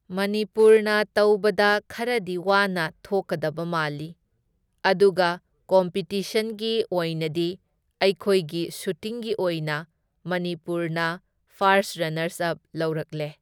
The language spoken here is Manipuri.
ꯃꯅꯤꯄꯨꯔꯅ ꯇꯧꯕꯗ ꯈꯔꯗꯤ ꯋꯥꯅ ꯊꯣꯛꯀꯗꯕ ꯃꯥꯜꯂꯤ, ꯑꯗꯨꯒ ꯀꯣꯝꯄꯤꯇꯤꯁꯟꯒꯤ ꯑꯣꯏꯅꯗꯤ ꯑꯩꯈꯣꯏꯒꯤ ꯁꯨꯇꯤꯡꯒꯤ ꯑꯣꯏꯅ ꯃꯅꯤꯄꯨꯔꯅ ꯐꯥꯔꯁ ꯔꯅꯔꯁ ꯑꯞ ꯂꯧꯔꯛꯂꯦ꯫